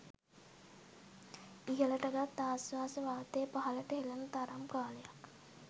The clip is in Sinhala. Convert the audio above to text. ඉහලට ගත් ආශ්වාස වාතය පහළට හෙළන තරම් කාලයක්